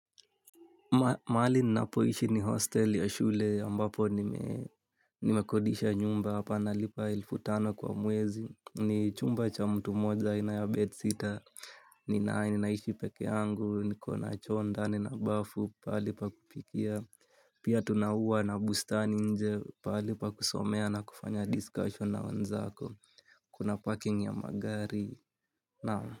Maali ninapoishi ni hostel ya shule ambapo nimekodisha nyumba hapa nalipa elfutano kwa mwezi ni chumba cha mtu moja ina ya bed sitter, ninae ninaishi peke yangu, niko na choo ndani na bafu pali pa kupikia, pia tuna ua na bustani nje palipa kusomea na kufanya discussion na wanzako, kuna parking ya magari nao.